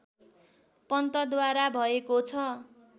पन्तद्वारा भएको छ